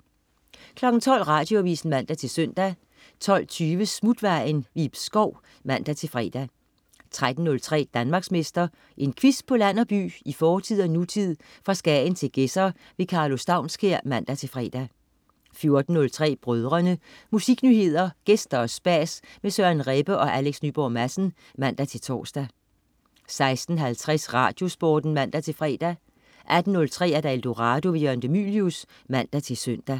12.00 Radioavis (man-søn) 12.20 Smutvejen. Ib Schou (man-fre) 13.03 Danmarksmester. En quiz på land og by, i fortid og nutid, fra Skagen til Gedser. Karlo Staunskær (man-fre) 14.03 Brødrene. Musiknyheder, gæster og spas med Søren Rebbe og Alex Nyborg Madsen (man-tors) 16.50 RadioSporten (man-fre) 18.03 Eldorado. Jørgen de Mylius (man-søn)